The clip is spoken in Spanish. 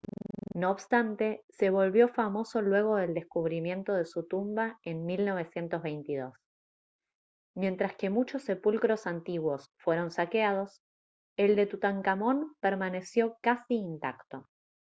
no obstante se volvió famoso luego del descubrimiento de su tumba en 1922 mientras que muchos sepulcros antiguos fueron saqueados el de tutankamón permaneció casi intacto